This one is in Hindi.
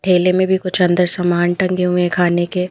ठेले में भी कुछ अंदर समान टंगे हुए हैं खाने के --